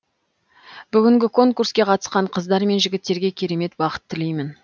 бүгінгі конкурске қатысқан қыздар мен жігіттерге керемет бақыт тілеймін